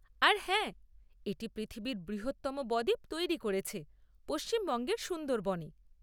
আর হ্যাঁ, এটি পৃথিবীর বৃহত্তম ব দ্বীপ তৈরি করেছে; পশ্চিমবঙ্গের সুন্দরবনে।